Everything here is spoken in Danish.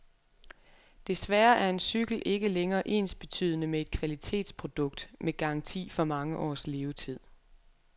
Desværre er en cykel ikke længere ensbetydende med et kvalitetsprodukt, med garanti for mange års levetid.